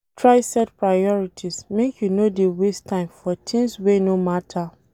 Dey try set priorities make you no dey waste time for tins wey no mata.